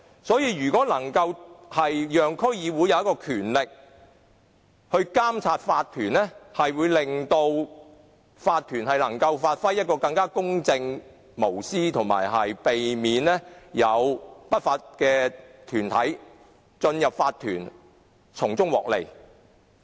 所以，如果能賦予區議會權力來監察法團，便能夠令法團更公正和無私，以及避免有不法團體進入法團從中漁利。